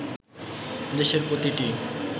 দেশের প্রতিটি